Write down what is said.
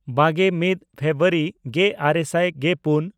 ᱵᱟᱜᱮᱼᱢᱤᱫ February ᱜᱮᱼᱟᱨᱮ ᱥᱟᱭ ᱜᱮᱯᱩᱱ